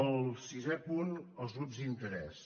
el sisè punt els grups d’interès